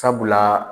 Sabula